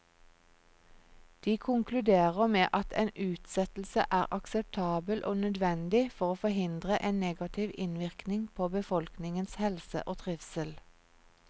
De konkluderer med at en utsettelse er akseptabel og nødvendig for å forhindre en negativ innvirkning på befolkningens helse og trivsel.